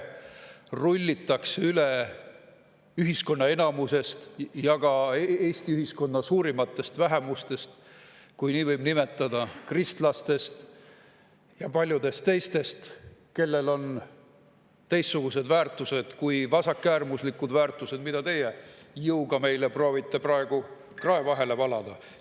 Rullitakse üle ühiskonna enamusest ja ka Eesti ühiskonna suurimatest vähemustest, kui nii võib nimetada – kristlastest ja paljudest teistest, kellel on teistsugused väärtused kui vasakäärmuslikud väärtused, mida teie proovite meile praegu jõuga krae vahele valada.